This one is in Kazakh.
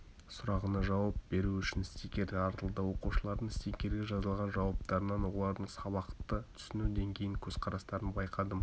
сұрағына жауап беру үшін стикер таратылды оқушылардың стикерге жазылған жауаптарынан олардың сабақты түсіну деңгейін көзқарастарын байқадым